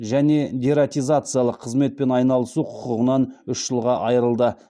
және дератизациялық қызметпен айналысу құқығынан үш жылға айырылды